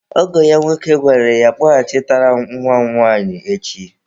Ọgọ ya nwoke gwara ya, kpọchighatara m nwa m nwanyị echi!